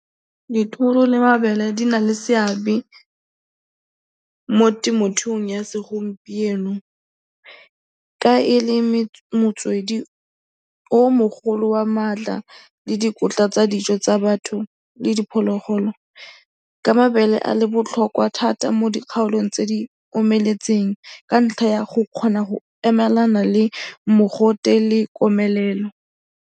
Dithoro le mabele di na le seabe mo temothuong ya segompieno ka e le motswedi o o mogolo wa maatla le dikotla tsa dijo tsa batho le diphologolo ka mabele a le botlhokwa thata mo dikgaolong tse di omeletseng ka ntlha ya go kgona go emelana le mogote le komelelo.